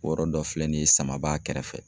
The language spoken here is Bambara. O yɔrɔ dɔ filɛ nin ye samaba kɛrɛfɛ.